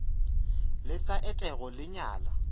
le sa etego le nyala